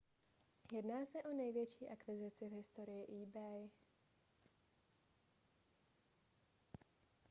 jedná se o největší akvizici v historii ebay